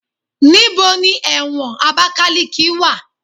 Níbo ni ẹ̀wọ̀n Abakaliki wà?